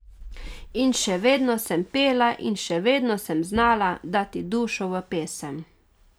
In še vedno sem pela in še vedno sem znala dati dušo v pesem.